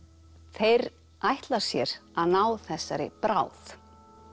þeir ætla sér að ná þessari bráð